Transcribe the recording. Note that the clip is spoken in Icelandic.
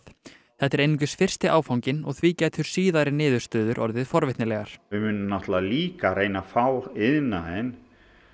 þetta er einungis fyrsti áfanginn og því gætu síðari niðurstöður orðið forvitnilegar við munum líka reyna að fá iðnaðinn